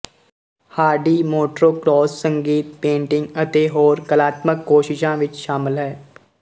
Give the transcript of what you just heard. Hardy motocross ਸੰਗੀਤ painting ਅਤੇ ਹੋਰ ਕਲਾਤਮਕ ਕੋਸ਼ਿਸ਼ਾਂ ਵਿੱਚ ਸ਼ਾਮਲ ਹੈ